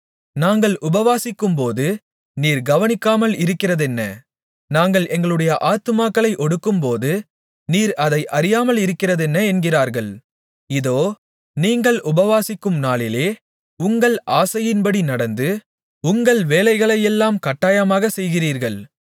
நாங்கள் உபவாசிக்கும்போது நீர் கவனிக்காமல் இருக்கிறதென்ன நாங்கள் எங்களுடைய ஆத்துமாக்களை ஒடுக்கும்போது நீர் அதை அறியாமலிருக்கிறதென்ன என்கிறார்கள் இதோ நீங்கள் உபவாசிக்கும் நாளிலே உங்கள் ஆசையின்படி நடந்து உங்கள் வேலைகளையெல்லாம் கட்டாயமாகச் செய்கிறீர்கள்